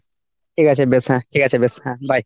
ঠিক আছে বেশ হ্যাঁ, ঠিক আছে বেশ হ্যাঁ bye ।